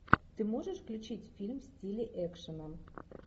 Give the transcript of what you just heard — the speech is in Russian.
ты можешь включить фильм в стиле экшена